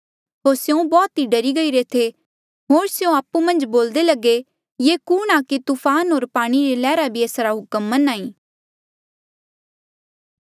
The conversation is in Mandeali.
होर स्यों बौह्त ई डरी गईरे थे होर तिन्हें आपु मन्झ बोल्दे लगे ये कुणहां कि तूफान होर पाणी री लैहरा भी एसरा हुक्म मन्हां ऐें